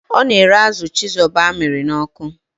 Ọ na-ere azụ chizoba amịrị n'ọkụ.